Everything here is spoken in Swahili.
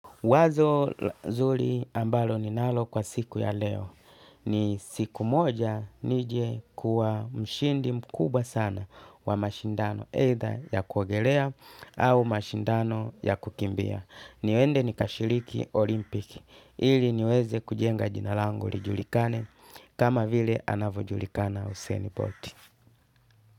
Wazo zuri ambalo ninalo kwa siku ya leo. Ni siku moja nije mshindi mkubwa sana wa mashindano either ya kuogelea, au mashindano ya kukimbia. Niende nikashiriki Olimpiki ili niweze kujenga jina langu lijulikane kama vile anavyojulikana Usain Bolt.